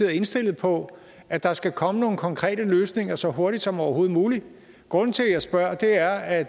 indstillet på at der skal komme nogle konkrete løsninger så hurtigt som overhovedet muligt grunden til at jeg spørger er at